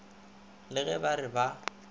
le ge ba re ba